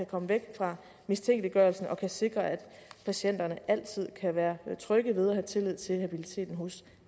komme væk fra mistænkeliggørelsen og sikre at patienterne altid kan være trygge ved og have tillid til habiliteten hos